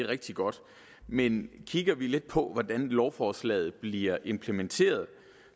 rigtig godt men kigger lidt på hvordan lovforslaget bliver implementeret